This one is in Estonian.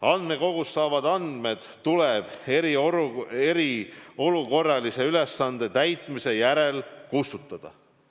Andmekogust saadavad andmed tuleb eriolukorralise ülesande täitmise järel kustutada.